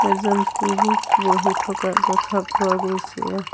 এজন পুৰুষ বহি থকা দেখা পোৱা গৈছে।